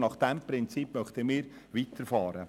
Nach diesem Prinzip möchten wir weiterfahren.